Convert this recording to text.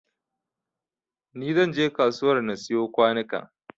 Ni zan je kasuwar na siyo kwanukan